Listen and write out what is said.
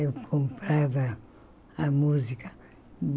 Eu comprava a música.